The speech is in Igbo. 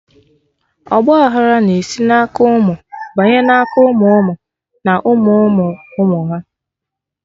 Ọgba aghara na-esi na aka ụmụ banye na aka ụmụ ụmụ na ụmụ ụmụ ụmụ ha